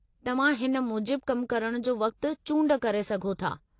तव्हां हिन मुजिबु कम करणु जो वक़्तु चूंड करे सघो था।